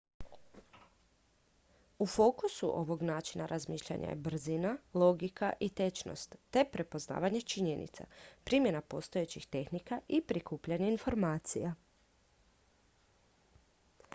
u fokusu ovog načina razmišljanja je brzina logika i točnost te prepoznavanje činjenica primjena postojećih tehnika i prikupljanje informacija